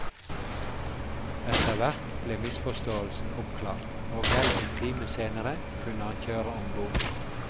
Etterhvert ble misforståelsen oppklart, og vel en time senere kunne han kjøre om bord.